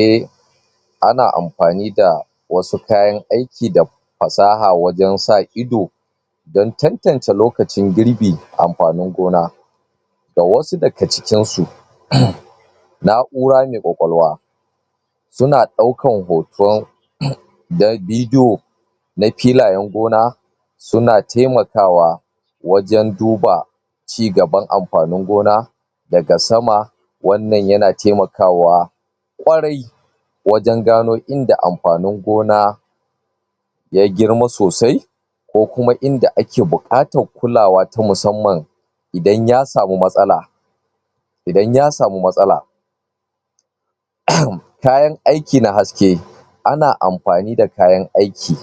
Eh ana ampani da wasu kayan aiki da fasaha wajen sa ido dan cancanta lokacin girbin, amfanin gona da wasu da ga cikin su naura mai kwakwalwa suna daukan hoton da vidiyo, na filayen gona su na taimakawa, wajen duba ci gaban amfanin gona da ga sama wannan ya na taimakawa kwarai kwarai wajen gano inda amfanin gona ya girma sosai ko kuma inda a ke bukatar kulawa ta musamman idan ya samu matsala idan ya samu matsala kayan aiki na haske ana amfani da kayan aiki